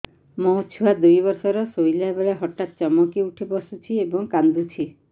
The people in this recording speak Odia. ମୋ ଛୁଆ ଦୁଇ ବର୍ଷର ଶୋଇଲା ବେଳେ ହଠାତ୍ ଚମକି ଉଠି ବସୁଛି ଏବଂ କାଂଦୁଛି